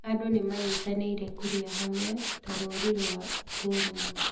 Andũ nĩ manyitanĩire kũrĩa hamwe ta rũri rwa ũrũmwe.